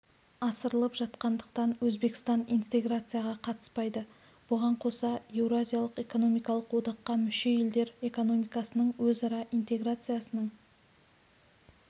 асырылып жатқандықтан өзбекстан интеграцияға қатыспайды бұған қоса еуразиялық экономикалық одаққа мүше елдер экономикасының өзара интеграциясының